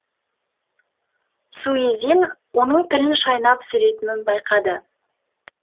суизин оның тілін шайнап сөйлейтінін байқады